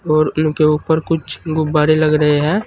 और इनके ऊपर कुछ गुब्बारे लग रहे हैं।